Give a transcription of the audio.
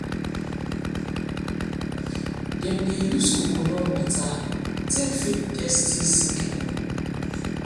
dem dey use coconut water take feed thirsty seedling